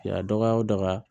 Ya dɔgɔ o dɔgɔ